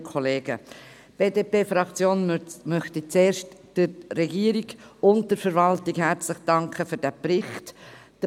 Die BDP-Fraktion möchte zuerst der Regierung und der Verwaltung herzlich für den Bericht danken.